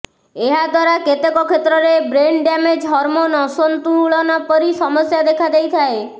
ଏହା ଦ୍ୱାରା କେତେକ କ୍ଷେତ୍ରରେ ବ୍ରେନ୍ ଡ୍ୟାମେଜ୍ ହର୍ମୋନ୍ ଅସନ୍ତୁଳନ ପରି ସମସ୍ୟା ଦେଖାଦେଇଥାଏ